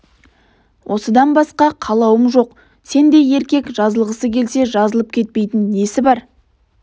осыдан басқа қалауым жоқ сендей еркек жазылғысы келсе жазылып кетпейтін несі бар